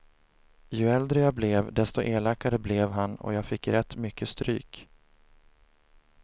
Ju äldre jag blev, desto elakare blev han och jag fick rätt mycket stryk.